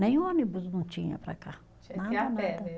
Nem ônibus não tinha para cá. Tinha que ir a pé né.